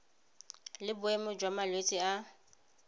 le boemo jwa malwetse a